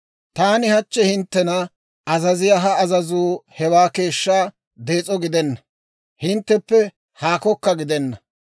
«Taani hachchi hinttena azaziyaa ha azazuu hewaa keeshshaa dees'o gidenna; hintteppe haakokka gidenna.